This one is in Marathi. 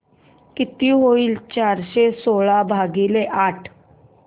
किती होईल चारशे सोळा भागीले आठ